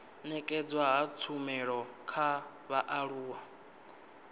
nekedzwa ha tshumelo kha vhaaluwa